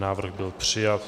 Návrh byl přijat.